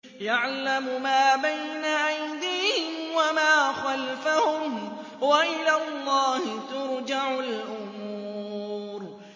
يَعْلَمُ مَا بَيْنَ أَيْدِيهِمْ وَمَا خَلْفَهُمْ ۗ وَإِلَى اللَّهِ تُرْجَعُ الْأُمُورُ